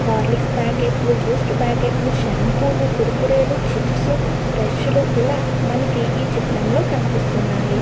Horlicks packet లు Boost packet లు shampoo లు కూరకూరే లు చిప్స్ బ్రష్ లు ఇలా మనకి ఈ చిత్రం లో కనిపిస్తున్నాయి.